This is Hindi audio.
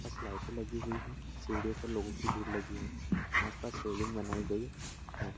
आस-पास लाइटे लगी हुई है सीढ़ियों पर लोगों की भीड़ लगी है आस-पास रेलिंग बनाई गई है।